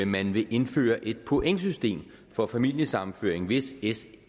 man vil indføre et pointsystem for familiesammenføring hvis s